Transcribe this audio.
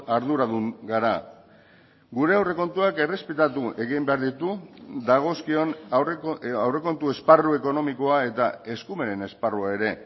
arduradun gara gure aurrekontuak errespetatu egin behar ditu dagozkion aurrekontu esparru ekonomikoa eta eskumenen esparrua ere